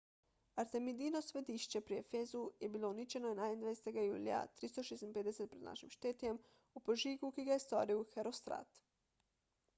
artemidino svetišče pri efezu je bilo uničeno 21 julija 356 pr n š v požigu ki ga je storil herostrat